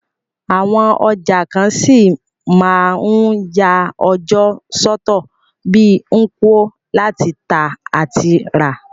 Àwon ọjà kan ṣí ma n ya ọjọ́ sọ́tọ̀ bi Nkwo, láti tà àti rà